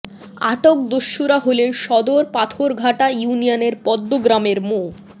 আটক দস্যুরা হলেন সদর পাথরঘাটা ইউনিয়নের পদ্মা গ্রামের মো